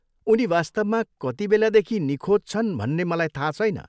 उनी वास्तवमा कतिबेलादेखि निखोज छन् भन्ने मलाई थाहा छैन।